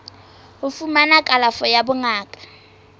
ho fumana kalafo ya bongaka